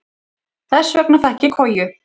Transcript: Þess vegna fékk ég koju.